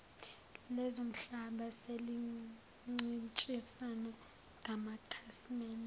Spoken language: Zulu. lezomhlaba selincintisana ngamakhasimede